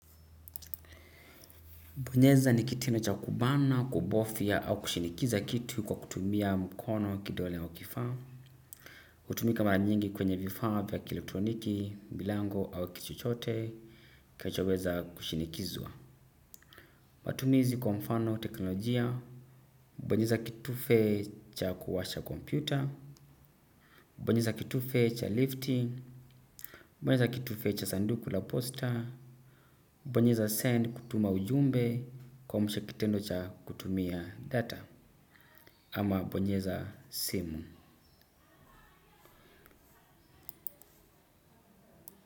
Bonyeza ni kitendo cha kubana, kubofya au kushinikiza kitu kwa kutumia mkono kidole wa kifaa. Hutumika mara nyingi kwenye vifaa vya ki elektroniki, milango au kitu chochote kilichoweza kushinikizwa. Matumizi kwa mfano teknolojia, bonyeza kitufe cha kuwasha kompyuta, bonyeza kitufe cha lifti, bonyeza kitufe cha sanduku la poster, bonyeza send kutuma ujumbe kwamsha kitendo cha kutumia data. Ama bonyeza simu.